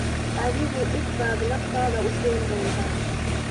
Adigu dhib baad naftaada u keeni doontaa.